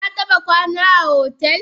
Kataba kwana a hotel?